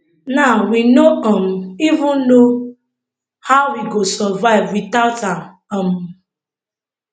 now we no um even know how we go survive wit out am um